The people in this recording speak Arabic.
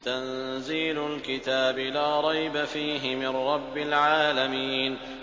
تَنزِيلُ الْكِتَابِ لَا رَيْبَ فِيهِ مِن رَّبِّ الْعَالَمِينَ